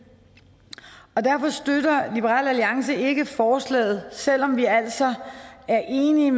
og derfor støtter liberal alliance ikke forslaget selv om vi altså er enige